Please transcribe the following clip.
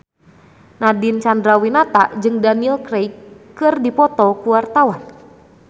Nadine Chandrawinata jeung Daniel Craig keur dipoto ku wartawan